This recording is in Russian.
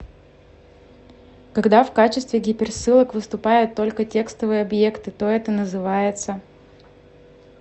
когда в качестве гиперссылок выступают только текстовые объекты то это называется